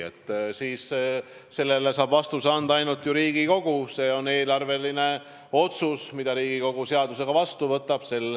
Sellele saab vastuse anda ainult Riigikogu, see on eelarveline otsus, mille Riigikogu seadusega vastu võtab.